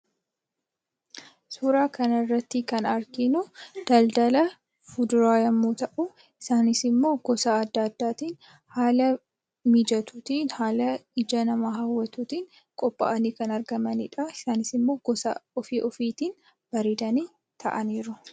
Suuraa kana irrattinkan arginuu daldalaa fuduuraa yommuu ta'u, isaan immoo gosaa adda addaan halaa mijatuttin haala hawwatuttin qopha'aani kan argamanidha. Isaanis gosaa ofi ofiittin bareedani ta'aniruu.